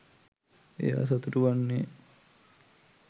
එයා සතුටු වන්නේ